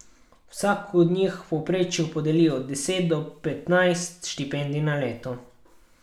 Vsako od njih v povprečju podeli od deset do petnajst štipendij na leto.